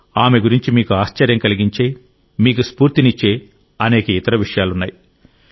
ఆమె గురించి మీకు ఆశ్చర్యం కలిగించే మీకు స్ఫూర్తినిచ్చే అనేక ఇతర విషయాలు ఉన్నాయి